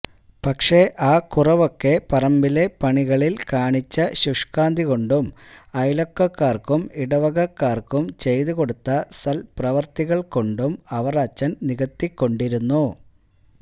പക്ഷേ ആ കുറവൊക്കെ പറമ്പിലെ പണികളില് കാണിച്ച ശുഷ്കാന്തി കൊണ്ടും അയല്വക്കക്കാര്ക്കും ഇടവകക്കാര്ക്കും ചെയ്തുകൊടുത്ത സത്പ്രവര്ത്തികള് കൊണ്ടും അവറാച്ചന് നികത്തിക്കൊണ്ടിരുന്നു